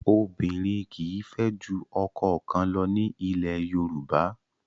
Obìnrin kì í fẹ́ ju ọkọ kan lọ ní ilẹ̀ Yorùbá.